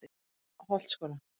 Holtsskóla